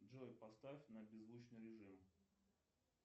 джой поставь на беззвучный режим